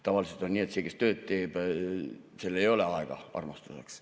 Tavaliselt on nii, et see, kes tööd teeb, sel ei ole aega armastuseks.